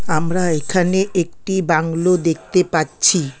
আমরা এখানে একটি বাংলো দেখতে পাচ্ছি।